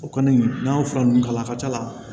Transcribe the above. O kɔni n'an y'o fura nunnu kala a ka ca la